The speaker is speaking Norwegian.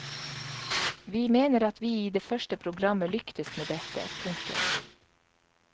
Vi mener at vi i det første programmet lyktes med dette. punktum